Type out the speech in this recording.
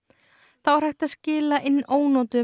þá er hægt að skila inn ónotuðum